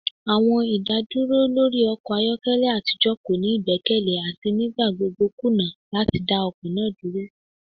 Awọn idaduro lori ọkọ ayọkẹlẹ atijọ ko ni igbẹkẹle ati nigbagbogbo kuna lati da ọkọ naa duro.